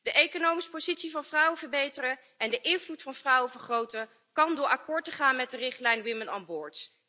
De economische positie van vrouwen verbeteren en de invloed van vrouwen vergroten kan door akkoord te gaan met de richtlijn Women on Board.